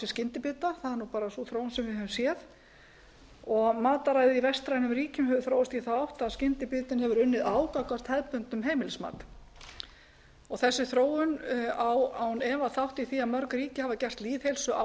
þróun sem við höfum séð og mataræði í vestrænum ríkjum hefur þróast í þá átt að skyndibitinn hefur unnið á gagnvart hefðbundnum heimilismat þessi þróun á án efa þátt í því að mörg ríki hafa gert lýðheilsuáætlanir